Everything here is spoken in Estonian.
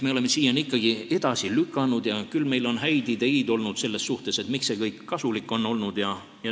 Me oleme siiani seda edasi lükanud ja küll on meil olnud häid ideid selle kohta, miks see kõik kasulik on olnud.